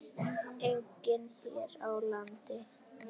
Einnig hér á landi.